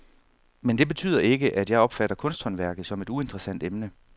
Men det betyder ikke, at jeg opfatter kunsthåndværket som et uinteressant emne.